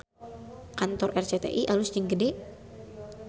Kantor RCTI alus jeung gede